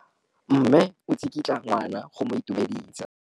Mme o tsikitla ngwana go mo itumedisa.